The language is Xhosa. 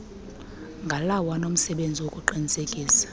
ngalawo anomsebenzi wokuqinisekisa